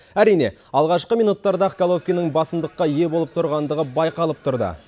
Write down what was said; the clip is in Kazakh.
әрине алғашқы минуттарда ақ головкиннің басымдыққа ие болып тұрғандығы байқалып тұрды